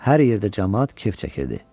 Hər yerdə camaat kef çəkirdi.